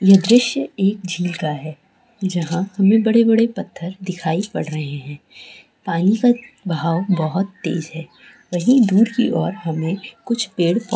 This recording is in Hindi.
यह दृश्य एक झील का है जहाँ हमें बड़े- बड़े पत्थर दिखाई पड़ रहे हैं पानी का एक बहाव बहुत तेज है वही दूर की और हमें कुछ पेड़--